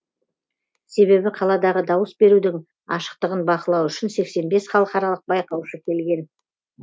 себебі қаладағы дауыс берудің ашықтығын бақылау үшін сексен бес халықаралық байқаушы келген